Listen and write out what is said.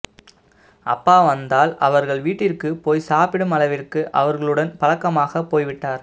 அப்பா வந்தால் அவர்கள் வீட்டிற்கு போய் சாப்பிடும் அளவிற்கு அவர்களுடன் பழக்கமாக போய்விட்டார்